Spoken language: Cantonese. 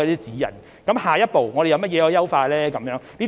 至於下一步可以優化些甚麼呢？